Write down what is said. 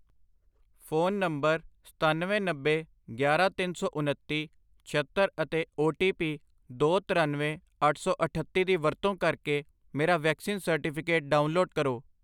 phone number ਸਤੱਨਵੇਂ, ਨੱਬੇ, ਗਿਆਰਾਂ, ਤਿੰਨ ਸੌ ਉਨੱਤੀ, ਛਿਅੱਤਰ ਅਤੇ ਓ ਟੀ ਪੀ ਦੋ, ਤਰੱਨਵੇਂ, ਅੱਠ ਸੌ ਅਠੱਤੀ ਦੀ ਵਰਤੋਂ ਕਰਕੇ ਮੇਰਾ ਵੈਕਸੀਨ ਸਰਟੀਫਿਕੇਟ ਡਾਊਨਲੋਡ ਕਰੋ